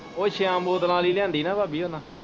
ਉਹ ਛੇਆ ਬੋਤਲਾਂ ਵਾਲੀ ਲਿਆਂਦੀ ਨਾ ਭਾਬੀ ਉਹਨਾ।